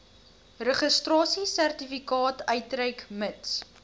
registrasiesertifikaat uitreik mits